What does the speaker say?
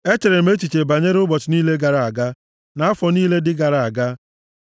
Echere m echiche banyere ụbọchị niile gara aga, na afọ niile ndị gara aga.